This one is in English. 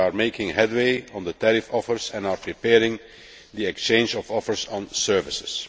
We are making headway on the tariff offers and are preparing the exchange of offers on services.